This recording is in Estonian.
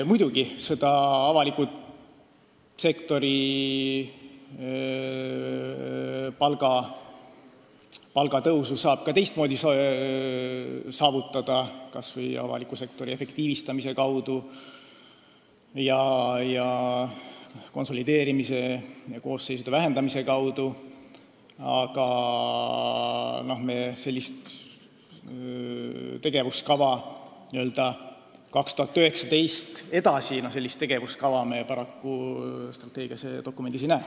Muidugi, avaliku sektori palgatõusu saab ka teistmoodi saavutada, kas või avaliku sektori efektiivistamise ning konsolideerimise ja koosseisude vähendamise kaudu, aga sellist tegevuskava 2019. aastaks ja edasi me paraku strateegiadokumendis ei näe.